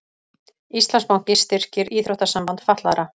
Íslandsbanki styrkir Íþróttasamband fatlaðra